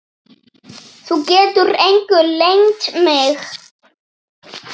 Þú getur engu leynt mig.